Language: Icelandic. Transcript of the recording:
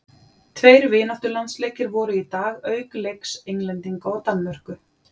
Tveir vináttulandsleikir voru í dag auk leiks Englendinga og Danmörku.